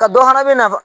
Ka dɔ fara bɛna